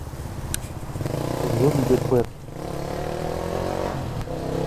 зомби бэт